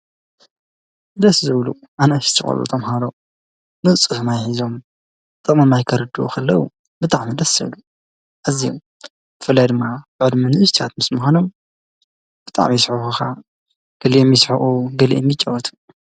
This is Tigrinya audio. ደስ ዝብሉ ኣናእሽተይ ቆልዑ ተምሃሮ ንፁህ ማይ ሒዞም ጥቕሚ ማይ ከርድኡ ከለው ብጣዕሚ ደስ ዝብሉ ኣዝዮም ብፍላይ ድማ ብዕድመ ንእሽተያት ምስምዃኖም ብጣዕሚ ይስሕቡኻኣ ገሊኦም ይስሕቑ ገሊኦም ድማ ይጫወቱ ።